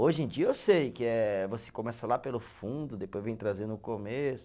Hoje em dia eu sei que é, você começa lá pelo fundo, depois vem trazendo o começo.